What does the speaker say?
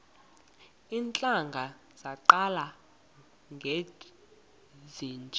iintlanga zaqala ngezinje